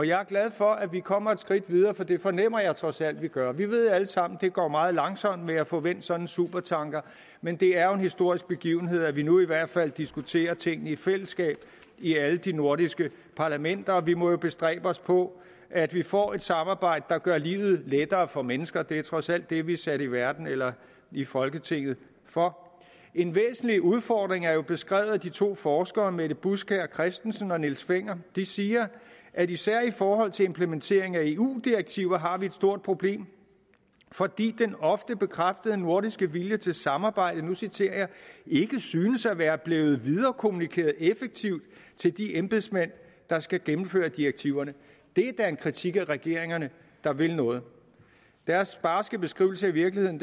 jeg er glad for at vi kommer et skridt videre for det fornemmer jeg trods alt at vi gør vi ved alle sammen at det går meget langsomt med at få vendt sådan en supertanker men det er jo en historisk begivenhed at vi nu i hvert fald diskuterer tingene i fællesskab i alle de nordiske parlamenter og vi må bestræbe os på at vi får et samarbejde der gør livet lettere for mennesker det er trods alt det vi er sat i verden eller i folketinget for en væsentlig udfordring er jo beskrevet af de to forskere mette buskjær christensen og niels fenger de siger at især i forhold til implementering af eu direktiver har vi et stort problem fordi den ofte bekræftede nordiske vilje til samarbejde og nu citerer jeg ikke synes at være blevet viderekommunikeret effektivt til de embedsmænd der skal gennemføre direktiverne det er da en kritik af regeringerne der vil noget deres barske beskrivelse af virkeligheden